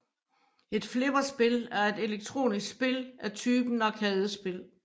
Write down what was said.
Et flipperspil er et elektronisk spil af typen arkadespil